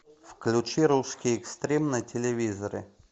включи русский экстрим на телевизоре